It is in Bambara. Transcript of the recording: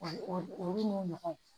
O o olu n'o ɲɔgɔnw